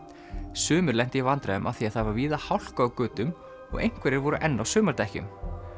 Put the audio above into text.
sumir lentu í vandræðum af því það var víða hálka á götum og einhverjir voru enn á sumardekkjum